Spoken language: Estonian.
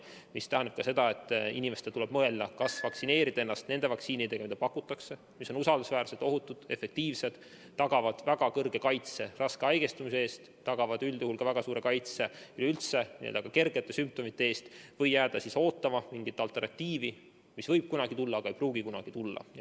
See tähendab, et inimestel tuleb mõelda, kas vaktsineerida ennast nende vaktsiinidega, mida pakutakse ja mis on usaldusväärsed, ohutud, efektiivsed, tagavad väga suure kaitse raske haigestumise eest ja üldjuhul väga suure kaitse ka kergete sümptomite eest, või jääda ootama mingit alternatiivi, mis võib kunagi tulla, aga ei pruugi.